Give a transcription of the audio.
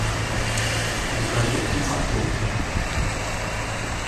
закажи три морковки